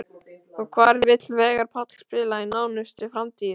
Og hvar vill Veigar Páll spila í nánustu framtíð?